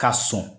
Ka sɔn